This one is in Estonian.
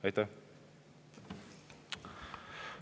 Aitäh!